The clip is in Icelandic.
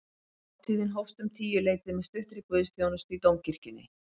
Hátíðin hófst um tíuleytið með stuttri guðsþjónustu í dómkirkjunni